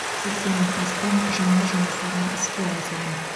сексеннен астам жаңа жұмыс орны іске қосылған